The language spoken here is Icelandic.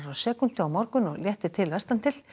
sekúndu á morgun og léttir til vestan til